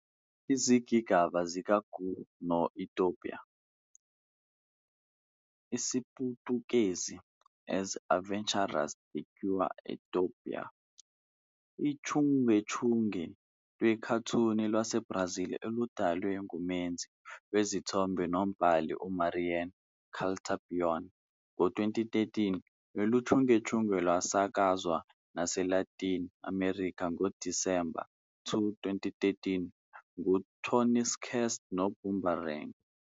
Izigigaba zikaGui noEstopa, IsiPutukezi- "As Aventuras de Gui and Estopa", iwuchungechunge lwekhathuni lwaseBrazili oludalwe ngumenzi wezithombe nombhali uMariana Caltabiano. Ngo-2013, lolu chungechunge lwasakazwa naseLatin America ngoDisemba 2, 2013 nguTooncast noBoomerang.